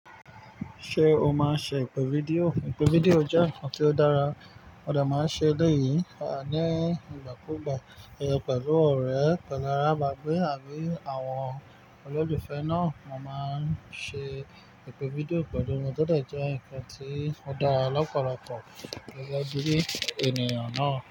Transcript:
Ṣé o máa ń ṣe ìpè fídíò? Ìpè fídíò jẹ́ ǹkan tí ó dára. Mo dẹ máa ṣe eleyì ní ìgbà kúùgbà pẹ̀lú ọ̀rẹ́ pẹ̀lú arábàgbé àbí àwọn olólùfẹ́ náà. Mo máa ń ṣe ìpè fídíò pẹ̀lú wọn. Ó dẹ jẹ́ ǹkan tí ó dára lọ́pọ̀lọpọ̀ gẹ́gẹ́ bí ènìyàn náà.